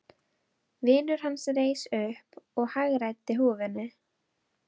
Vinur hans reis upp og hagræddi húfunni.